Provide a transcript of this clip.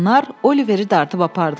Onlar Oliveri dartıb apardılar.